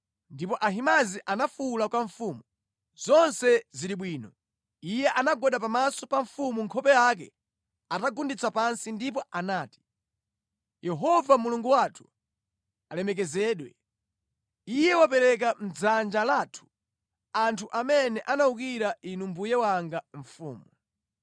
Ndipo Ahimaazi anafuwula kwa mfumu, “Zonse zili bwino!” Iye anagwada pamaso pa mfumu nkhope yake atagunditsa pansi ndipo anati, “Yehova Mulungu wathu alemekezedwe! Iye wapereka mʼdzanja lathu anthu amene anawukira inu mbuye wanga mfumu.”